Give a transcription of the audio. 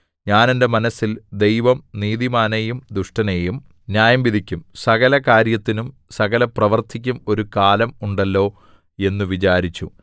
ഞാൻ എന്റെ മനസ്സിൽ ദൈവം നീതിമാനെയും ദുഷ്ടനെയും ന്യായംവിധിക്കും സകല കാര്യത്തിനും സകലപ്രവൃത്തിക്കും ഒരു കാലം ഉണ്ടല്ലോ എന്നു വിചാരിച്ചു